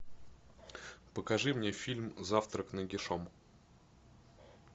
покажи мне фильм завтрак нагишом